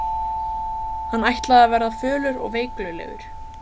Hann ætlaði að verða fölur og veiklulegur.